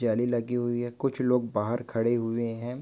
जाली लगी हुई है कुछ लोग बाहर खड़े हुए है।